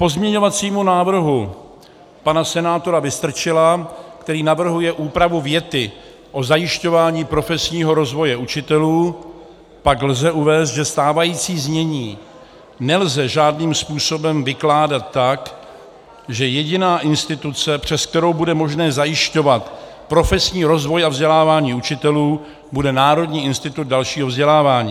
K pozměňovacímu návrhu pana senátora Vystrčila, který navrhuje úpravu věty o zajišťování profesního rozvoje učitelů, pak lze uvést, že stávající znění nelze žádným způsobem vykládat tak, že jediná instituce, přes kterou bude možné zajišťovat profesní rozvoj a vzdělávání učitelů, bude Národní institut dalšího vzdělávání.